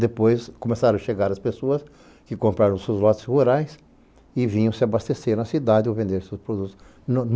Depois começaram a chegar as pessoas que compraram seus lotes rurais e vinham se abastecer na cidade ou vender seus produtos.